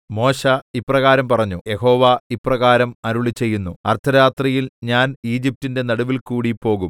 മോശെ ഇപ്രകാരം പറഞ്ഞു യഹോവ ഇപ്രകാരം അരുളിച്ചെയ്യുന്നു അർദ്ധരാത്രിയിൽ ഞാൻ ഈജിപ്റ്റിന്റെ നടുവിൽകൂടി പോകും